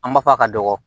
An b'a fɔ a ka dɔgɔ